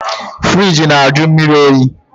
Firigi na-ajụ mmiri oyi